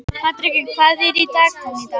Patrekur, hvað er í dagatalinu í dag?